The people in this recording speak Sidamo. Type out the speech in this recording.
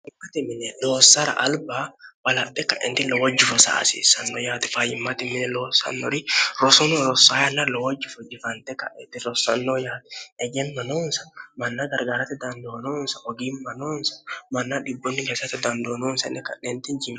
mmmine loossara alba balarxe kaenti lowo jifosa asiissanno yaate fayimmate mine loossannori rosono rossaayanna lowojjifujifante ka'eti rossannoo yaati hegemma nounsa manna gargaarate dandoonoonsa ogiimmanoonsa manna dhibbunni gesate dandoonoonsanne ka'neenti niiemo